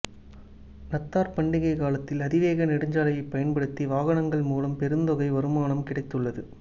நத்தார் பண்டிகைக் காலத்தில் அதிவேக நெடுஞ்சாலையைப் பயன்படுத்திய வாகனங்கள் மூலம் பெருந்தொகை வருமானம் கிடைத்துள்ளது